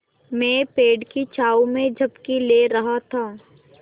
मैं पेड़ की छाँव में झपकी ले रहा था